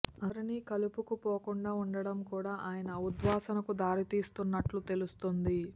అందరినీ కలుపుకుపోకుండా ఉండటం కూడా ఆయన ఉద్వాసనకు దారి తీస్తున్నట్టు తెలుస్తోంది